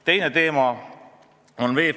Järgmine teema on VEB Fond.